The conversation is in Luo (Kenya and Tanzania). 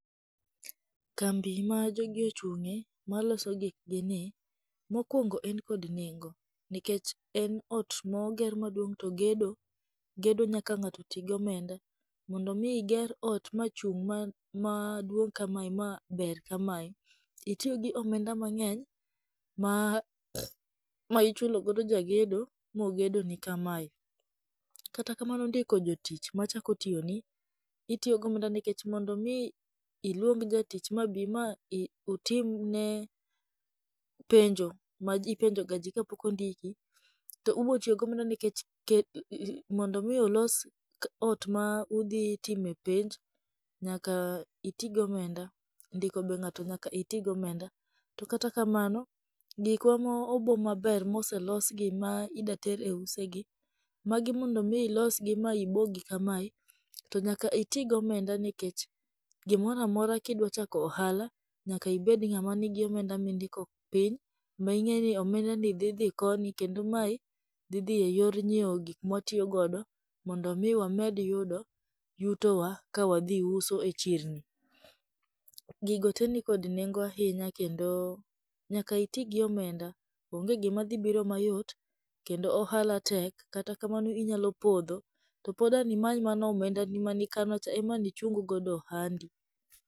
Kambi ma jogi ochung'e maloso gikgi ni, mokuongo en kod nengo, nikech en ot moger maduong' to gedo gedo nyaka ng'ato ti gi omenda. Mondo mi iger ot machung' ma maduong' kamae ma ber kamae, itiyo gi omenda mang'eny ma ma ichulogo jagedo mogedoni kamae. Kata kamano ndiko jitich machako tiyoni, itiyo gomenda nikech mondo mi iluong jatich ma mabi ma i otimni ne penjo ma ipenjoga ji kapok ondiki, to ubotiyo gomenda nikech kel mondo mi olos ot ma udhi time penj, nyaka iti gomenda. Ndiko ng'ato be nyaka iti gomenda. To kata kamano, gikwa ma obo maber ma oselosigi ma ida ter e use gi, magi mondo mi ilosgi ma ibogi kamae, to nyaka iti gomenda nikech gimoro amora kidwa chako ohala, nyaka ibed ng'ama nigi omenda ma indiko piny, ming'eni omendani dhi dhi koni kendo mae dhi dhi e yor ng'ieo gik mwatiyogo mondo mi wamed yudo yutowa ka wadhi uso e chirni. Gigo te nitie kod nengo ahinya kendo nyaka iti gi omenda, onge gima dhi biro mayot, kendo ohala tek, kata kamano inyalo podho, to pod an imany mana omendani mane ikano cha ema an ichung godo ohandi.